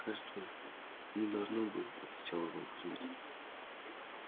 кажется не должно бы отвечал иван кузмич